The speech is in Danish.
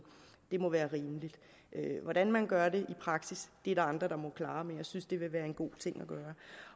det må være rimeligt hvordan man gør det i praksis er der andre der må klare men jeg synes at det vil være en god ting